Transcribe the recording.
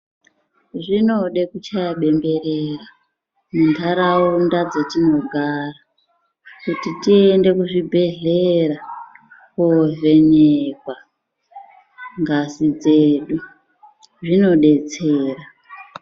Zvinode kuchaye bemberera muntaraunda dzetinogara ,kuti tiende kuzvibhedhlera kovhenekwa ngazi dzedu. Zvinodetsera.